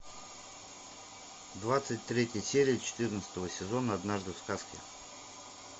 двадцать третья серия четырнадцатого сезона однажды в сказке